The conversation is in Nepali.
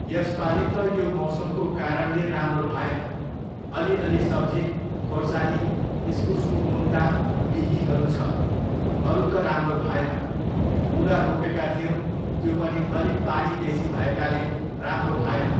यसपालि त यो मौसमको कारणले राम्रो भएन, अलिअलि सब्जी, खोर्सानी, इस्कुसको मुन्टा, बिहीँहरू छ, अरू त राम्रो भएन। मुला रोपेका थियौँ, त्यो पनि अलि पानी बेसी भएकाले राम्रो भएन।